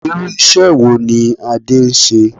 Irú ìṣe wo ní Adé ń ṣe?